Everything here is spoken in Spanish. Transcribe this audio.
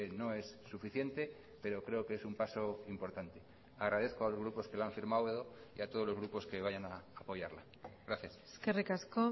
no es suficiente pero creo que es un paso importante agradezco a los grupos que lo han firmado y a todos los grupos que vayan a apoyarla gracias eskerrik asko